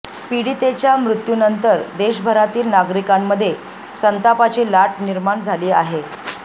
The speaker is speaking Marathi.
पीडितेच्या मृत्यूनंतर देशभरातील नागरिकांमध्ये संतापाची लाट निर्माण झाली आहे